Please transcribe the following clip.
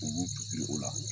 U b'u fili o la.